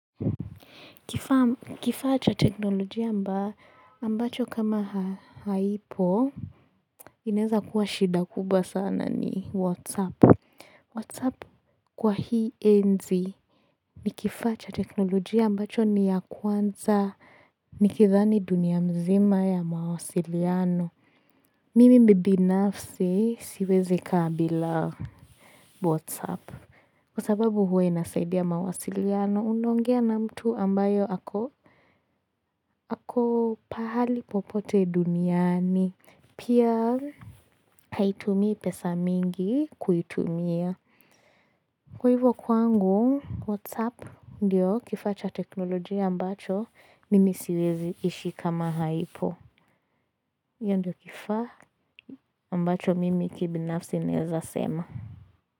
Kifaa cha teknolojia ambacho kama haipo, inaweza kuwa shida kubwa sana ni Whatsapp. Whatsapp kwa hii enzi ni kifaa cha teknolojia ambacho ni ya kwanza, nikidhani dunia mzima ya mawasiliano. Mimi binafsi siwezi kaa bila Whatsapp. Kwa sababu huwe inasaidia mawasiliano, unaongea na mtu ambaye ako pahali popote duniani. Pia haitumii pesa mingi kuitumia. Kwa hivyo kwangu, Whatsapp ndiyo kifaa cha teknolojia ambacho, nimi siwezi ishi kama haipo. Hio ndio kifaa ambacho mimi kibinafsi naweza sema.